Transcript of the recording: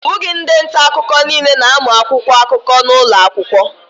Ọ bụghị ndị nta akụkọ niile na-amụ akwụkwọ akụkọ n'ụlọ akwụkwọ